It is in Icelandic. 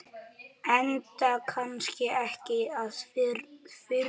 Enda kannski ekki að furða.